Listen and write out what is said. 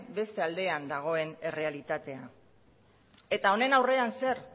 beste aldean dagoen errealitatea eta honen aurrean zer